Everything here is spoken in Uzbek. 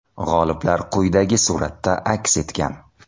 G‘oliblar quyidagi suratda aks etgan.